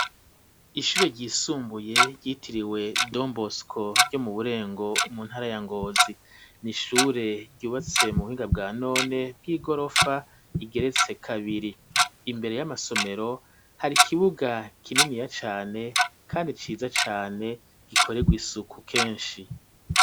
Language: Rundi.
Ishure ryisumbuye, ryitiriwe "Don Bosco", ryo mu Burengo, mu ntara ya Ngozi, ni ishure, ryubatse mu buhinga, bwa none, bw'igorofa, igeretse kabiri; imbere y'amasomero, hari ikibuga, kininiya cane, kandi ciza cane, gikorerwa isuku, kenshi.